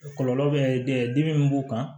Kɔlɔlɔ bɛ dimi min b'u kan